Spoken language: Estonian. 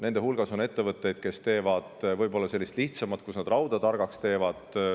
Nende hulgas on ettevõtteid, kes teevad võib-olla sellist lihtsamat, kus nad rauda targaks teevad.